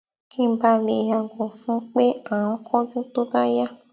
kí n ba lè yàgò fún pé à n kánjú tó bá yá